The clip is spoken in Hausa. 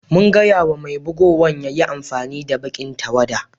Mun gaya ma mai bugowan ya yi amfani da baki'n tawada.